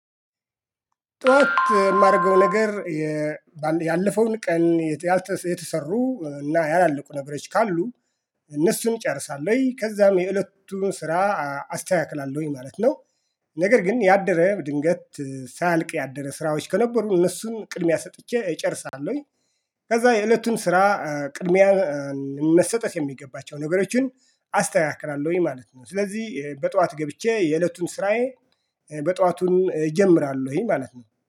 ጠዋት የማደርገው ነገር ያለፈውን ቀን የተሰሩ እና ያላለቁ ነገሮች ካሉ እነሱን እጨርሳለሁኝ ከዛም የእለቱን ስራ አስተካክላለሁኝ ማለት ነው። ነገር ግን ያደረ ድንገት ሳያልቅ ያደረ ስራዎች ከነበሩ እነሱን ቅድሚያ ሰጥቼ እጨርሳለሁኝ። ከዛ የእለቱን ስራ ቅድሚያ መሰጠት የሚገባቸው ነገሮችን አስተካክላለሁኝ ማለት ነው። ስለዚህ በጠዋት ገብቼ የእለቱን ስራዬ በጠዋቱን እጀምራለሁኝ ማለት ነው